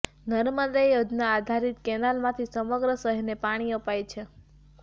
નર્મદા યોજના આધારિત કેનાલમાંથી સમગ્ર શહેરને પાણી અપાય છે